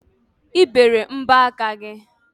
I bere mbọaka gị?